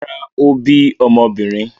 Rárá, ó bí ọmọbìnrin.